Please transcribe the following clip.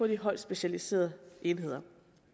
de højt specialiserede enheder